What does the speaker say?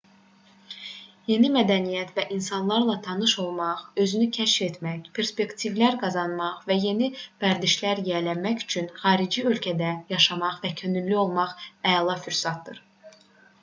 yeni mədəniyyətlər və insanlarla tanış olmaq özünü kəşf etmək perspektivlər qazanmaq və yeni vərdişlərə yiyələnmək üçün xarici ölkədə yaşamaq və könüllü olmaq əla fürsətdir